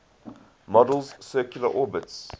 model's circular orbits